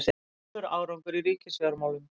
Góður árangur í ríkisfjármálum